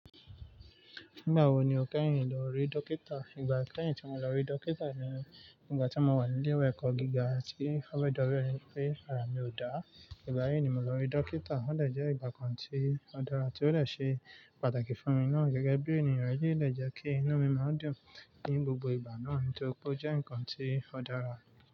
Nígbà wo ni o kẹ́yìn lọ rí dọkítà? Ìgbà kẹ́yìn tí mo lọ rí dókítà ni ígbà tí mò wà ní ilé-ìwé ẹ̀kọ́ gíga tí ó fẹ́ẹ̀ jobi ẹni pé ara mi ò dáa. Ìgbà yii ni mo lọ rí dókítà. Ó dè jẹ́ ìgbà kan tí ó dára tí ó de ṣe pàtàkì fún mi náà gẹ́gẹ́ bí ènìyàn. Ó lè jẹ́ kí inu mi máa n dùn ní gbogbo ìgbà náà, tori ó jẹ́ ǹkan tí ó dára.